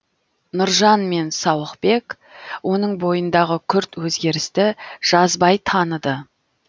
нұржан мен сауықбек оның бойындағы күрт өзгерісті жазбай таныды